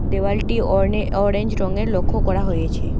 দেওয়ালটি অরনে-অরেঞ্জ রঙের লক্ষ্য করা হয়েছে।